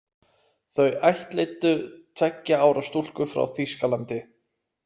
Þau ættleiddu tveggja ára stúlku frá Þýskalandi.